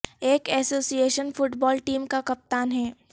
ایک association football team کا کپتان ہے